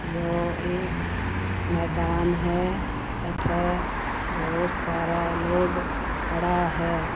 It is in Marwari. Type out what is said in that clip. यो एक मैदान है अठे बोहोत सारा लोग खड़ा है।